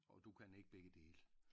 Og du kan ikke begge dele